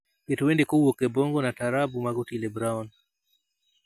Ket wende kowuok e bongo na taarabu mag otile brown